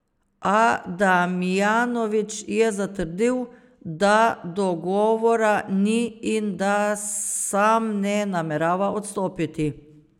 A Damjanovič je zatrdil, da dogovora ni in da sam ne namerava odstopiti.